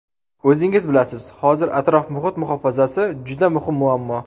O‘zingiz bilasiz, hozir atrof-muhit muhofazasi juda muhim muammo.